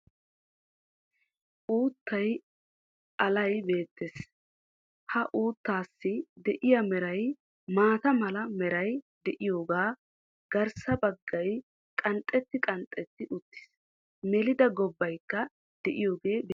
Uuttaay alay beettees. Ha uuttaassi de'iya meray maataa mala meray de'iyoga, garssa baggay qanxxeti qanxxeti uttiis. Melida gobbaykka deiyagee beettees.